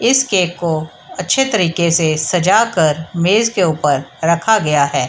इस केक को अच्छे तरीके से सजाकर मेज के ऊपर रखा गया है।